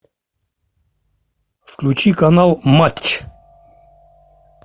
включи канал матч